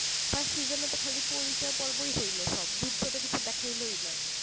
first seasons তো খালি পরিচয় পর্বই হইল সব যুদ্ধ তো কিছু দেখালো না